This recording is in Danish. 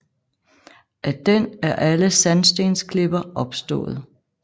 Af den er alle sandstensklipper opstået